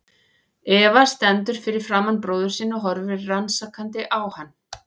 Eva stendur fyrir framan bróður sinn og horfir rannsakandi á hann.